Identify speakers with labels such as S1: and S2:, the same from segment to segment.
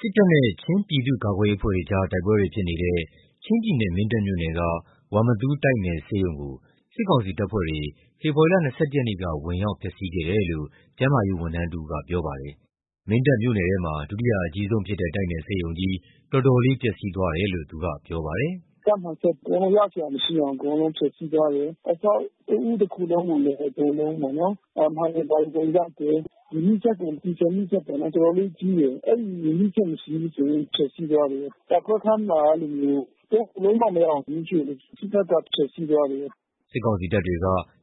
S1: စစ်တပ်နဲ့ ချင်းပြည်သူ့ကာကွယ်ရေးအဖွဲ့တွေ တိုက်ပွဲတွေဖြစ်နေတဲ့ ချင်းပြည်နယ် မင်းတပ်မြို့နယ်က ဝမ္မသူးတိုက်နယ်ဆေးရုံကို စစ်ကောင်စီတပ်ဖွဲ့တွေ ဖေဖော်ဝါရီ ၂၁ ရက်နေ့က ဝင်ရောက် ဖျက်စီးခဲ့တယ်လို့ ကျန်းမာရေးဝန်ထမ်းတဦးကပြောပါတယ်။ မင်းတပ်မြို့နယ်ထဲမှာ ဒုတိယအကြီးဆုံးဖြစ်တဲ့ တိုက်နယ်ဆေးရုံကြီး တော်တော်လေးပျက်စီးသွားတယ်လို့ ခုလိုပြောပြပါတယ်။
S2: “ဓါတ်မှန်စက်တွေ အကုန်လုံးရစရာမရှိအောင် အကုန်လုံး ဖျက်စီးသွားတယ်။ အဆောက်အဦးတခုလုံးကိုလည်း အကုန်လုံးပေါ့နော်။ မှန်တွေဘာတွေအကုန်ရိုက်တယ်။ မီးစက်ဆို ဒီဇယ်မီးစက်က တော်တော်လေးကြီးတယ်။ အဲဒီမီးစက် ကို ဖျက်စီးသွားတယ်။ ဓါတ်ခွဲခန်းမှာ သုံးလို့ဘယ်လိုမှမရအောင် မီးရှို့တယ်။ စစ်တပ်ကဖျက်စီးသွားတယ်။
S1: ” စစ်ကောင်စီတပ်တွေ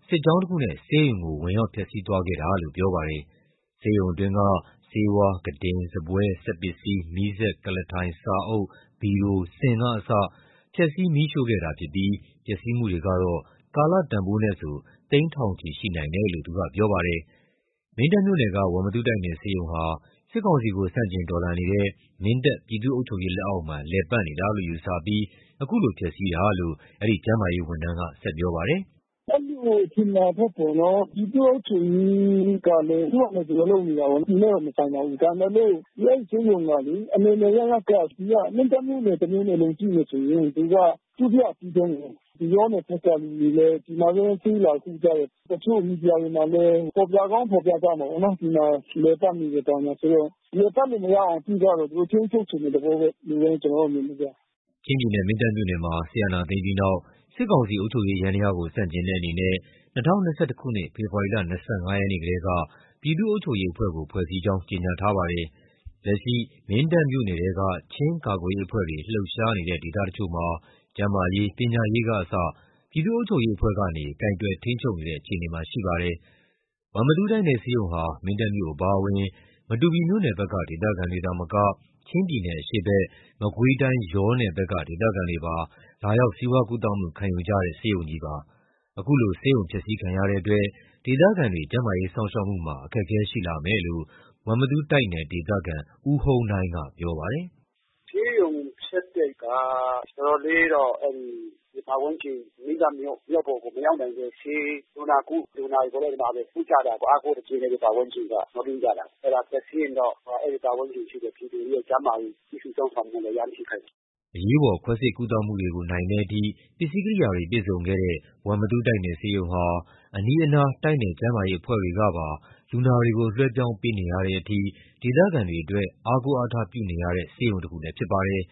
S1: စစ်ကြောင်းတခုနဲ့ ဆေးရုံးကို ဝင်ရောက်ဖျက်စီးသွားခဲ့တာလို့ ပြောပါတယ်။ ဆေးရုံအတွင်းက ဆေးဝါး၊ ခုတင်၊ စားပွဲ၊ စက်ပစ္စည်း၊ မီးစက်၊ ကုလားထိုင်၊ စာအုပ်၊ ဗီရို၊ စင်ကအစ ဖျက်ဆီး မီးရှို့ခဲ့တာ ဖြစ်ပြီး ပျက်စီးမှုတွေကတော့ ကာလတန်ဖိုးနဲ့ဆို သိန်းထောင်ချီရှိနိုင်တယ်လို့ သူကပြောပါတယ်။ မင်းတပ်မြို့နယ်က ဝမ္မသူးတိုက်နယ်ဆေးရုံဟာ စစ်ကောင်စီကိုဆန့်ကျင်တော်လှန်နေတဲ့ မင်းတပ်ပြည်သူ့အုပ်ချုပ်ရေးလက်အောက်မှာ လည်ပတ်နေတာလို့ယူဆပြီး အခုလိုဖျက်စီးတာလို့ အဆိုပါ ကျန်းမာရေးဝန်ထမ်းက ဆက်ပြောပါတယ်။
S2: “အဲဒီလိုထင်တာထက်ပေါ့နော်။ ပြည်သူ့အုပ်ချုပ်ရေးကလည်း သူ့ဟာနဲ့သူကလုပ်နေတာပဲ။ သူနဲ့တော့မဆိုင်ပါဘူး။ ဒါပေမယ့်လို့ အဲဒီဆေးရုံကလေ အနယ်နယ်အရပ်ရပ်က မင်းတပ်မြို့နယ်တမြို့နယ်လုံး ကုတယ်ဆိုရင် သူက ဒုတိယအကြီးဆုံးကိုး။ ယောနယ်ဘက်ကလူတွေလည်း လာပြီးတော့ကုတာရှိကြတယ်။ တချို့မီဒီယာမှာလည်း ဖော်ပြကောင်းဖော်ပြကြမယ်လေနော်။ ဒီမှာလည်ပတ်နေတယ် ဘာညာဆိုတော့။ လည်ပတ်လို့မရအောင်ပြုသွားတယ်။ သူထိန်းချုပ်ချင်တဲ့သဘောပဲ။ ဒီလိုပဲ ကျနော်တို့ မြင်တယ်ဗျ။
S1: ” ချင်းပြည်နယ်၊ မင်းတပ်မြို့နယ်မှာ စစ်အာဏာသိမ်းပြီးနောက် စစ်ကောင်စီအုပ်ချုပ်ရေးယန္တရားကို ဆန့်ကျင်တဲ့အနေနဲ့ ၂၀၂၁ ခုနှစ် ဖေဖော်ဝါရီ ၂၅ ရက်နေ့ကတည်းက ပြည်သူ့အုပ်ချုပ်ရေးအဖွဲ့ကို ဖွဲ့စည်းကြောင်း ကြေညာထားပါတယ်။ လက်ရှိ မင်းတပ်မြို့နယ်ထဲက ချင်းကာကွယ်ရေးအဖွဲ့တွေ လှုပ်ရှားနေတဲ့ဒေသတချို့မှာ ကျန်းမာရေး ပညာရေးကအစ ပြည်သူ့အုပ်ချုပ်ရေးအဖွဲ့ကနေ ကိုင်တွယ် ထိန်းချုပ်နေတဲ့အခြေအနေမှာရှိနေပါတယ်။ ဝမ္မသူးတိုက်နယ်ဆေးရုံဟာ မင်းတပ်မြို့အပါဝင် မတူပီမြို့နယ်ဘက်ကဒေသခံတွေသာမက ချင်းပြည်နယ်အရှေ့ဘက် မကွေးတိုင်း ယောနယ်ဘက်က ဒေသခံတွေပါ လာရောက်ဆေးဝါးကုသမှုခံယူကြတဲ့ ဆေးရုံးကြီးဖြစ်ပါတယ်။ အခုလိုဆေးရုံဖျက်စီးခံရတဲ့အတွက် ဒေသခံတွေ ကျန်းမာရေးစောင့်ရှောက်မှုမှာအခက်ခဲရှိလာမယ်လို့ ဝမ္မသူးတိုက်နယ် ဒေသခံ ဦးဟုန်းနိုင်းကပြောပါတယ်။
S2: “ဆေးရုံဖျက်တဲ့က တော်တော်လေးတော့ အဲဒီပတ်ဝန်းကျင် မင်းတပ်မြို့ မြို့ပေါ်ကိုမရောက်နိုင်တဲ့ လူနာတွေ အကုန် လုံးလာကုကြတယ်ပေါ့။ အားကိုးတကြီးနဲ့ပတ်ဝန်းကျင်တွေက။ မျှော်လင့်ကြတာ။ အဲဒါပျက်စီးရင်တော့ ပတ်ဝန်းကျင်မှာ ရှိတဲ့ပြည်သူတွေရဲ့ ကျန်းမာရေး ပြုစုစောင့်ရှောက်မှု အရမ်းထိခိုက်တယ်
S1: ။” အရေးပေါ်ခွဲစိတ်ကုသမှုတွေနိုင်တဲ့အထိ ပစ္စည်းကိရိယာတွေပြည့်စုံခဲ့တဲ့ဝမ္မသူးတိုက်နယ်ဆေးရုံဟာ အနီးအနားတိုက် နယ်ကျန်းမာရေး အဖွဲ့တွေကပါ လူနာတွေကို လွှဲပြောင်းပေးနေရတဲ့အထိ ဒေသခံတွေအတွက် အားကိုးအားထားပြုနေရတဲ့ ဆေးရုံတစ်ခုလည်း ဖြစ်ပါတယ်